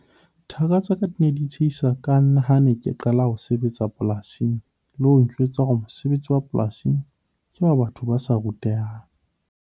Thaka tsa ka di ne di tsheha ka nna ha ke ne ke qala ho sebetsa polasing le ho njwetsa hore mosebetsi wa polasi ke wa batho ba sa rutehang.